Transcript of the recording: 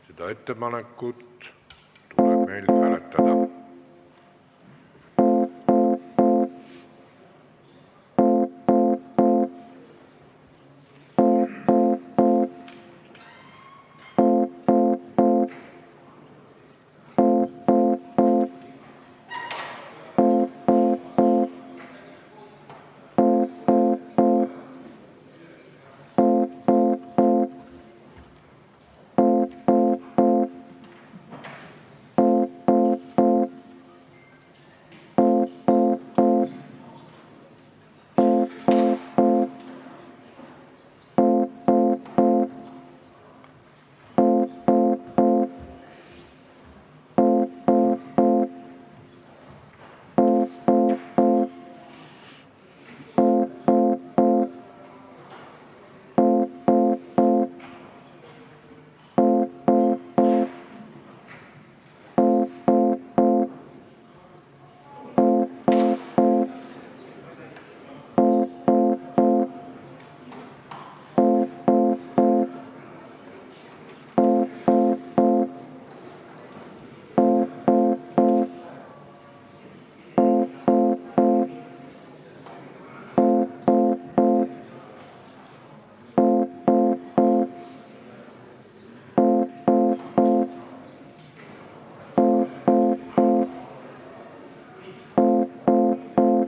Seda ettepanekut tuleb meil hääletada.